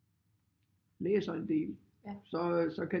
Læser en del så så kan